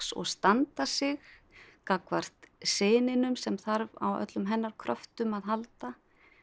og standa sig gagnvart syninum sem þarf á öllum hennar kröftum að halda